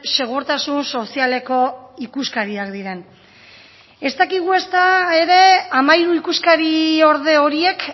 segurtasun sozialeko ikuskariak diren ez dakigu ezta ere hamairu ikuskariorde horiek